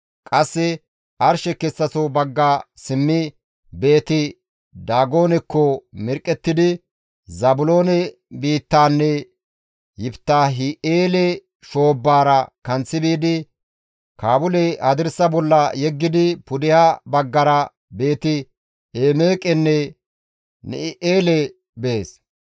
Qasse arshe kessaso bagga simmi Beeti-Daagonekko mirqqettidi, Zaabiloone biittaanne Yiftaahi7eele shoobbara kanththi biidi Kaabule hadirsa bolla yeggidi pudeha baggara Beeti-Emeeqenne Na7i7eele bees.